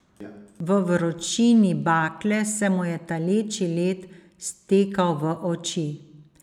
V vročini bakle se mu je taleči led stekal v oči.